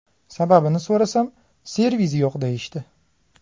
Sababini so‘rasam, servis yo‘q deyishdi.